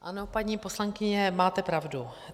Ano, paní poslankyně, máte pravdu.